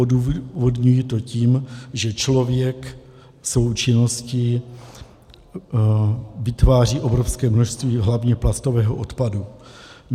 Odůvodňuji to tím, že člověk svou činností vytváří obrovské množství hlavně plastového odpadu.